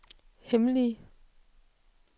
hemmelige